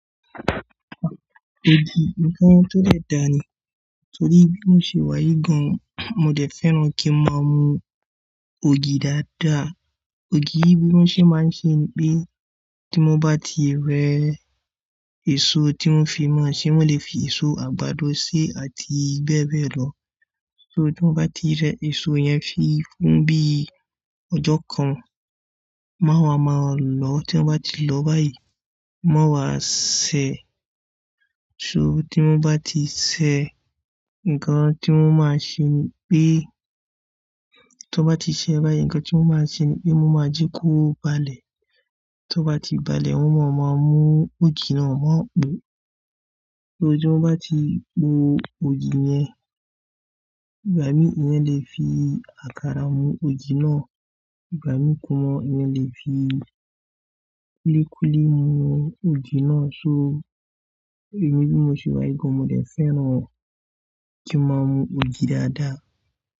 Ògì ǹkan tó de dà ni torí bí mo ṣe wà yii gan, mo dẹ̀ fẹ́ràn kí ń máa mu ògì dáadáa. Ògì bí mo ṣe máa ń ṣe ni pé tí mo bá ti rẹ́ èso tí won fi ma ṣé, won lè fi èso àgbàdo sí àti bẹ́ẹ̀ bẹ́ẹ̀ lọ. So tí mo bá ti rẹ́ èso yẹn fun bí ọjọ́ kan, má wa máa lò ó tí wọ́n bá ti lọ báyìí. Mo máa wá sè é, so tí mo bá ti sè é, nǹkan tí mo máa ṣe ni pé tí ó bá ti ṣẹ́ báyìí, nǹkan tí mo máa ṣe ni pé mo máa jí kó balẹ̀. Tí ó bá ti balẹ̀, won máa mú ògì náà mú. So tí mo bá ti po ògì yẹn, ìgbà mí mó lè fi àkàrà mú ògì náà, ìgbà mí mó lè fi kúlíkúlí mu ògì náà. So èmi bí mo ṣe wà yí gàn, mó dẹ̀ fẹ́ràn kí ń máa mu ògì dáadáa.